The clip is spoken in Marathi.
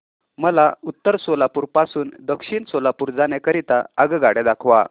मला उत्तर सोलापूर पासून दक्षिण सोलापूर जाण्या करीता आगगाड्या दाखवा